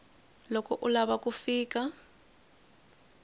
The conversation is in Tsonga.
loko u lava ku fika